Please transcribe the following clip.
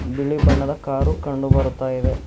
ಬಿಳಿ ಬಣ್ಣದ ಕಾರು ಕಂಡು ಬರುತ್ತಾ ಇದೆ.